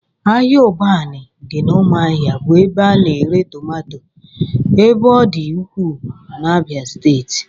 Ahịa Ụbanị dị n'ụmụahia bụ ebe a na-ere tomato ebe ọ dị ukwuu n'Abia steeti